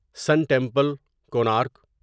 سن temple, Konark